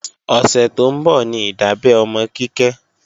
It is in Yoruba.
Ọ̀sẹ̀ tó ń bọ̀ ní ìdábẹ́ ọmọ Kíkẹ́